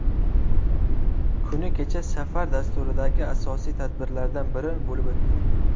Kuni kecha safar dasturidagi asosiy tadbirlardan biri bo‘lib o‘tdi.